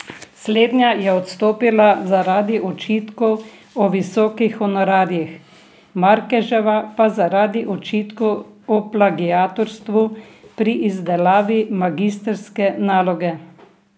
Slednja je odstopila zaradi očitkov o visokih honorarjih, Markeževa pa zaradi očitkov o plagiatorstvu pri izdelavi magistrske naloge.